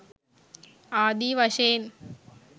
ආදී වශයෙන්